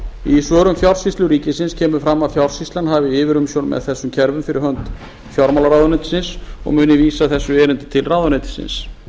í svörum fjársýslu ríkisins kemur fram að hún hafi yfirumsjón með þessum kerfum fyrir hönd fjármálaráðuneytisins og muni vísa þessu erindi til ráðuneytisins